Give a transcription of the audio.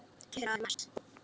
Klukkan er orðin margt.